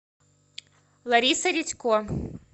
лариса редько